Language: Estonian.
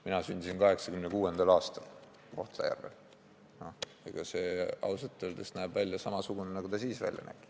Mina sündisin 1986. aastal Kohtla-Järvel, aga see maja näeb ausalt öeldes välja samasugune nagu siis.